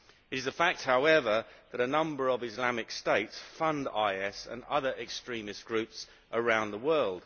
It is a fact, however, that a number of Islamic states fund IS and other extremist groups around the world.